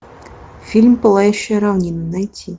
фильм пылающая равнина найти